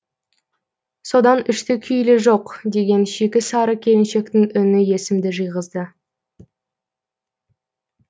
содан үшті күйлі жоқ деген шикі сары келіншектің үні есімді жиғызды